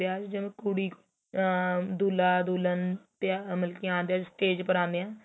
ਵਿਆਹ ਵਿੱਚ ਜਦੋ ਕੁੜੀ ਅਹ ਦੁਹ੍ਲਾ ਦੁਹਲਨ ਮਤਲਬ ਕੀ ਆਦੇ ਏ ਸਟੇਜ ਪਰ ਆਂਣੇ ਏ